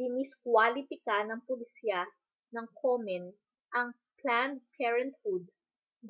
diniskwalipika ng polisiya ng komen ang planned parenthood